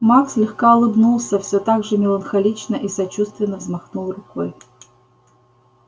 маг слегка улыбнулся всё так же меланхолично и сочувственно взмахнул рукой